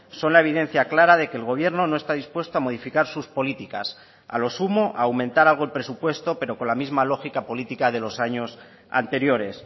son la evidencia clara de que el gobierno no está dispuesto a modificar sus políticas a lo sumo a aumentar algo el presupuesto pero con la misma lógica política de los años anteriores